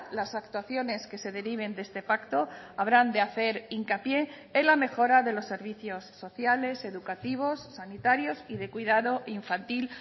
las actuaciones que se deriven de este pacto habrán de hacer hincapié en la mejora de los servicios sociales educativos sanitarios y de cuidado infantil